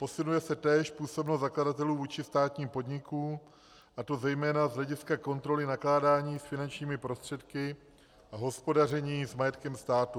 Posiluje se též působnost zakladatelů vůči státnímu podniku, a to zejména z hlediska kontroly nakládání s finančními prostředky a hospodaření s majetkem státu.